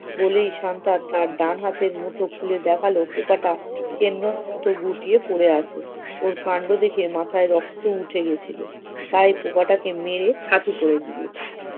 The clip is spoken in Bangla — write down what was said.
বলেই শান্তা তার ডান হাতের মুঠো খুলে দেখালো পোকাটা কেন্ড~ মতো গুটিয়ে পরে আছে! ওর কান্ড দেখে মাথায় রক্ত উঠে গেছিল, তাই পোকাটাকে মেরে ছাতু করে দিয়েছে।